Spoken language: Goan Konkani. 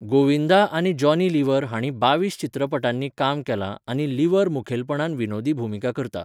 गोविंदा आनी जॉनी लिव्हर हांणी बावीस चित्रपटांनी काम केलां आनी लिव्हर मुखेलपणान विनोदी भुमिका करता.